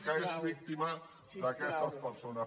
que és víctima d’aquestes persones